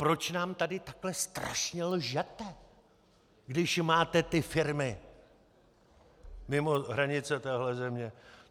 Proč nám tady takhle strašně lžete, když máte ty firmy mimo hranice téhle země?